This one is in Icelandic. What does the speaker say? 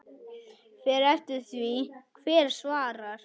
Fer eftir því hver svarar.